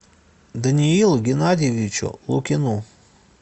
даниилу геннадьевичу лукину